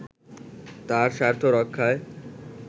তার স্বার্থ রক্ষায়